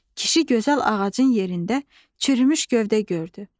Kişi gözəl ağacın yerində çürümüş gövdə gördü.